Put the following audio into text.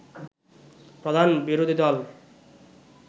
প্রধান বিরোধীদল